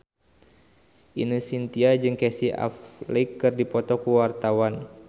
Ine Shintya jeung Casey Affleck keur dipoto ku wartawan